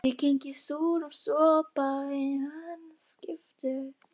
Ég kyngi súrum sopa í annað skipti.